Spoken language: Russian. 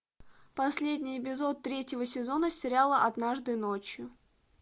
последний эпизод третьего сезона сериала однажды ночью